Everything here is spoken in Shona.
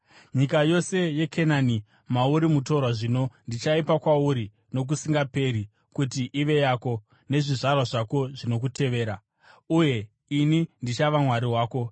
Nyika yose yeKenani, mauri mutorwa zvino, ndichaipa kwauri nokusingaperi kuti ive yako nezvizvarwa zvako zvinokutevera; uye ini ndichava Mwari wavo.”